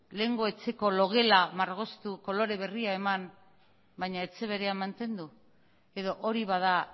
lehengo etxeko logela margotu kolore berria eman baina etxe bera mantendu edo hori bada